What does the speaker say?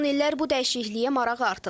Son illər bu dəyişikliyə maraq artıb.